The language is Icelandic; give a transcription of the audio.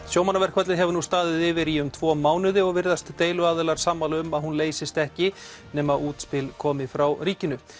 sjómannaverkfallið hefur nú staðið yfir í um tvo mánuði og virðast deiluaðilar sammála um að hún leysist ekki nema útspil komi frá ríkinu